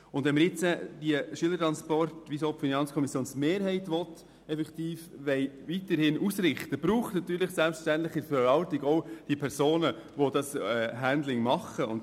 Sofern wir die Beiträge für die Schülertransporte – so will es auch die FiKo-Mehrheit – weiterhin ausrichten wollen, braucht es selbstverständlich in der Verwaltung Personen, die das «Handling» machen.